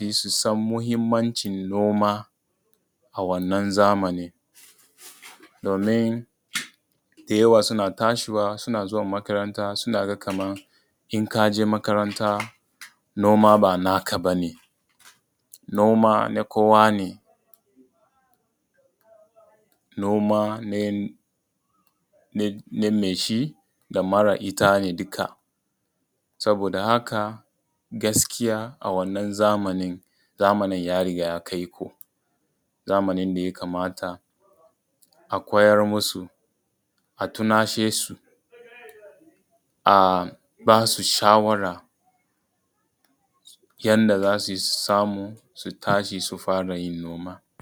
yi su san muhimmancin noma a wannan zamanin, domin da yawa suna tashiwa suna zuwa makaranta suna ga kaman in ka je makaranta noma ba na ka bane. Noma na kowane. Noma name shi da mara ita ne duka. Saboda haka gaskiya a wannan zamanin, zamanin ya riga ya kai ko, zamanin da ya kamata a koyar masu a tunashe su, a ba su shawara yanda za su yi su samu su tashi su fara yin noma.